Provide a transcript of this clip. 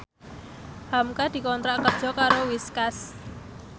hamka dikontrak kerja karo Whiskas